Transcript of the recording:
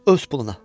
Öz puluna.